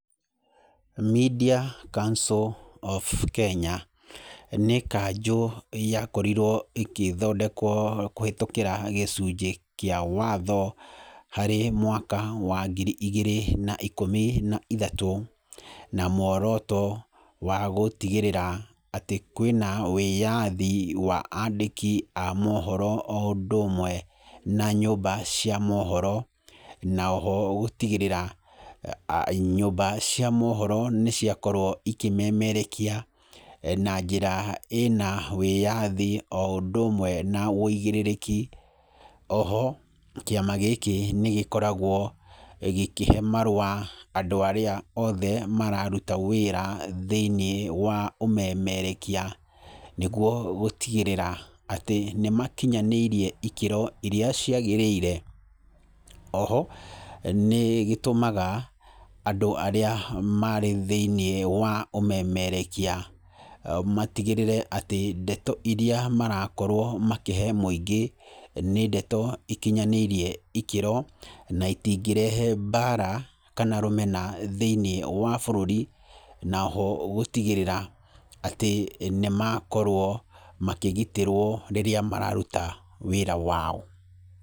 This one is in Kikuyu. Media Council of Kenya, nĩ kanjũ yakorirwo ĩgĩthondekwo kũhĩtũkĩra gĩcunjĩ kĩa watho, harĩ mwaka wa ngiri igĩrĩ na ikũmi na ithatũ, na muoroto wa gũtigĩrĩra atĩ, kwĩna wĩyathi wa andĩki a mohoro o ũndũ ũmwe na nyũmba cia mohoro. Na oho gũtigĩrĩra, nyũmba cia mohoro nĩ ciakorwo ikĩmemerekia na njĩra ĩna wĩyathi o ũndũ ũmwe na wĩigĩrĩrĩki. Oho, kĩama gĩkĩ nĩ gĩkoragwo gĩkĩhe marũa andũ arĩa othe mararuta wĩra thĩiniĩ wa ũmemerekia, nĩguo gũtigĩrĩra atĩ nĩ makinyanĩirie ikĩro irĩa ciagĩrĩire. Oho, nĩ gĩtũmaga andũ arĩa marĩ thĩiniĩ wa ũmemerekia, matigĩrĩre atĩ ndeto irĩa marakorwo makĩhe mũingĩ, nĩ ndeto ikinyanĩirie ikĩro, na itingĩrehe mbara, kana rũmena thĩiniĩ wa bũrũri, na oho gũtigĩrĩra, atĩ nĩ makorwo makĩgitĩrwo rĩrĩa mararuta wĩra wao.